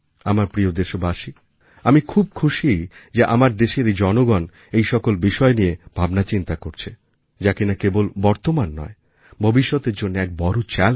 আমার প্রিয় দেশবাসী আমি খুব খুশি যে আমার দেশের জনগণ সেই সকল বিষয় নিয়ে ভাবনাচিন্তা করছে যা কিনা কেবল বর্তমান নয় ভবিষ্যতের জন্য এক বড় Challenge